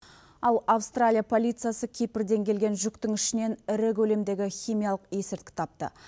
ал австралия полициясы кипрден келген жүктің ішінен ірі көлемдегі химиялық есірткі тапты